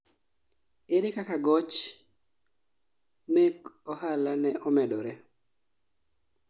ere kaka goch mek ohala ne omedore?